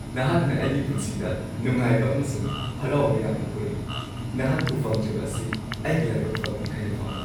ꯅꯍꯥꯛꯅ ꯑꯩꯒꯤ ꯄꯨꯟꯁꯤꯗ ꯅꯨꯡꯉꯥꯏꯕ ꯑꯃꯁꯨꯡ ꯍꯔꯥꯎꯕ ꯌꯥꯝꯅ ꯄꯨꯔꯛꯏ꯫ ꯅꯍꯥꯛꯄꯨ ꯐꯪꯖꯕ ꯑꯁꯤ ꯑꯩꯒꯤ ꯂꯥꯏꯕꯛ ꯐꯕꯅꯤ ꯍꯥꯏꯅ ꯐꯥꯎꯏ꯫